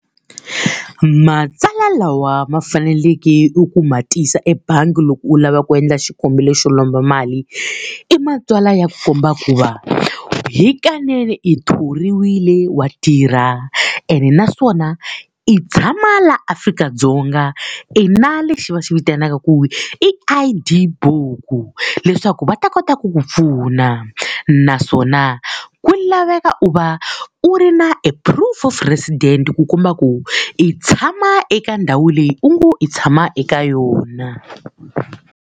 Matsalwa lawa ma faneleke eku ma tisa ebangi loko u lava ku endla xikombelo xo lomba mali, i matsalwa ya ku komba ku va, hikanene i thoriwile, wa tirha, ene naswona i tshama laha Afrika-Dzonga, i na lexi va xi vitanaka ku I_D buku leswaku va ta kota ku ku pfuna. Naswona ku laveka u va u ri na e proof of resident ku komba ku i tshama eka ndhawu leyi u ngo i tshama eka yona.